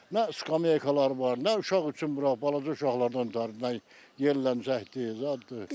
Nə skameykalalar var, nə uşaq üçün bura balaca uşaqlardan ötrü nəsə yerlərdən çəkdilər.